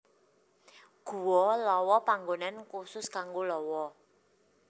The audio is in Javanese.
Guwa Lawa panggonan khusus kanggo lawa